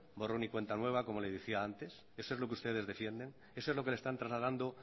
borrón y cuenta nueva como les decía antes eso es lo que ustedes defienden eso es lo que le están trasladando